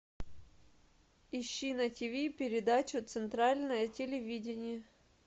ищи на тиви передачу центральное телевидение